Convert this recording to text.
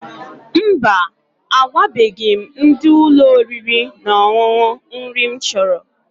Mba, agwabeghi m ndị ụlọ oriri na ọṅụṅụ nri m chọrọ.